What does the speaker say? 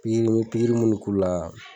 Piiriki me pikiri munnu k'u la